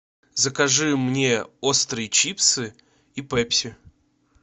закажи мне острые чипсы и пепси